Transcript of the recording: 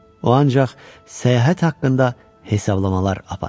O ancaq səyahət haqqında hesablamalar aparırdı.